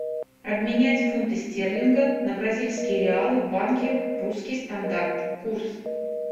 обменять фунты стерлинга на бразильские реалы в банке русский стандарт курс